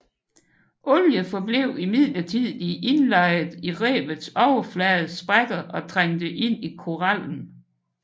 Olie forblev imidlertid indlejret i revets overflades sprækker og trængte ind i korallen